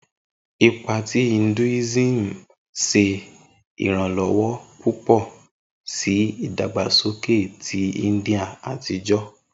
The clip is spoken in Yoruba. Ipa ti Hinduism ṣe iranlọwọ pupọ si idagbasoke ti India atijọ.